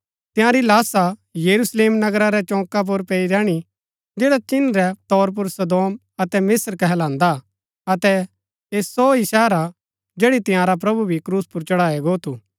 तंयारी लाशा यरूशलेम नगरा रै चौका पुर पैई रैहणी जैड़ा चिन्ह रै तौर पुर सदोम अतै मिस्त्र कहलांदा हा अतै ऐह सो ही शहर हा जैड़ी तंयारा प्रभु भी क्रूस पुर चढ़ाया गो थू